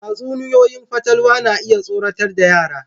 Tatsunoyoyin fatalwa na iya tsorata yara.